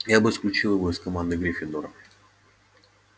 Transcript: я бы исключил его из команды гриффиндора